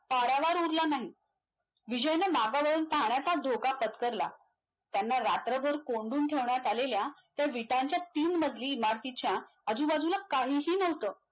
करायचेच कस आपले Personal details असतात .